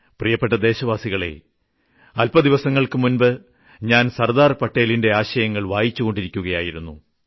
പ്രിയപ്പെട്ടെ ദേശവാസികളേ അല്പ ദിവസങ്ങൾക്ക് മുൻപ് ഞാൻ സർദാർ പട്ടേലിന്റെ ആശയങ്ങൾ വായിച്ചുകൊണ്ടിരിക്കുകയായിരുന്നു